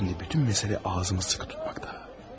Şimdi bütün məsələ ağzımı sıxı tutmaqda.